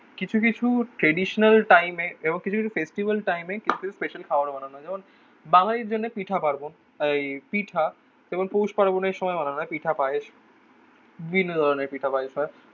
কিছু কিছু ট্রাডিশনাল টাইমে এবং কিছু কিছু ফেস্টিভ্যাল টাইমে কিছু স্পেশাল খাবারও বানানো. যেমন বাঙালির জন্য পিঠা, পার্মান্ব. এই পিঠা. কেবল পৌষ পার্বনের সময় মানে আমরা পিঠা পায়েস বিভিন্ন ধরণের পিঠটা পায়েস হয়.